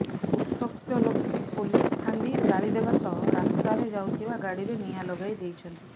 ଉତ୍ତ୍ୟକ୍ତ ଲୋକେ ପୋଲିସ ଫାଣ୍ଡି ଜାଳିଦେବା ସହ ରାସ୍ତାରେ ଯାଉଥିବା ଗାଡ଼ିରେ ନିଆଁ ଲଗାଇ ଦେଇଛନ୍ତି